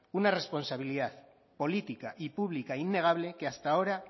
una responsabilidad política y pública innegable que hasta ahora